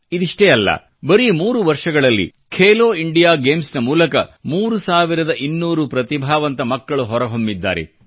ಇದಿಷ್ಟೆ ಅಲ್ಲ ಬರೀ ಮೂರು ವರ್ಷಗಳಲ್ಲಿ ಖೇಲೋ ಇಂಡಿಯಾ ಗೇಮ್ಸ್ನ ಮೂಲಕ 3200 ಪ್ರತಿಭಾವಂತ ಮಕ್ಕಳು ಹೊರಹೊಮ್ಮಿದ್ದಾರೆ